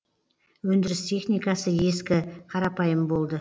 өндіріс техникасы ескі қарапайым болды